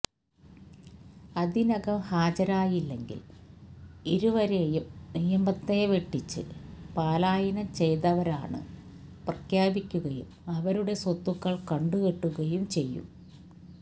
അതിനകം ഹാജരായില്ലെങ്കിൽ ഇരുവരെയും നിയമത്തെ വെട്ടിച്ചു പലായനം ചെയ്തവരാണ് പ്രഖ്യാപിക്കുകയും അവരുടെ സ്വത്തുക്കൾ കണ്ടുകെട്ടുകയും ചെയ്യും